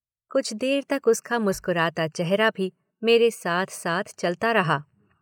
कुछ देर तक उसका मुस्कराता चेहरा भी मेरे साथ साथ चलता रहा।